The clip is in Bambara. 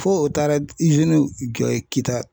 Fo o taara jɔ yen Kita